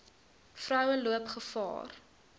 vroue loop gevaar